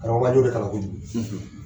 Karamɔgɔkɛ an ɲ'o de kalan kojugu